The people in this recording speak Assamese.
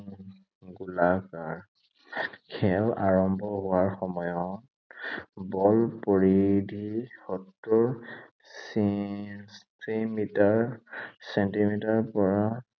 গোলাকাৰ। খেল আৰম্ভ হোৱাৰ সময়ত, বল পৰিধি সত্তৰ ছেণ্টিমিটাৰ, ছেণ্টিমিটাৰৰ পৰা